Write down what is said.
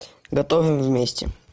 готовим вместе